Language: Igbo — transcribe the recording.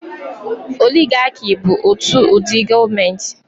Oligaki bụ otu ụdị gọọmenti